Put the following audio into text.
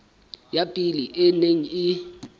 ya pele e neng e